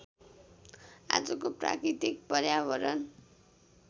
आजको प्राकृतिक पर्यावरण